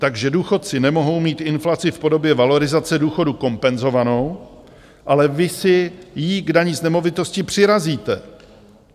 Takže důchodci nemohou mít inflaci v podobě valorizace důchodů kompenzovánu, ale vy si jí k dani z nemovitostí přirazíte.